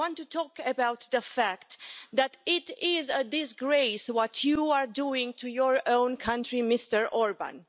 I want to talk about the fact that it is a disgrace what you are doing to your own country, Mr Orbán.